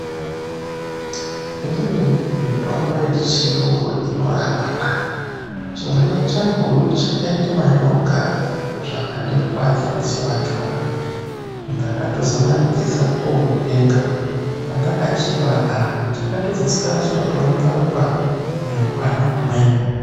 Imweni mitombo yechirungu inorapa na. Chimwana changu chakaite manyoka zvakandirwadza musi wachona. Ndakatozomanikisa kooutenga. Pandakachipa ah, chakatozoswera choorumba rumba nehwana humweni.